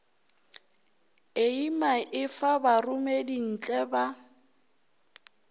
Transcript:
eima e fa baromedintle ba